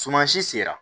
Sumansi sera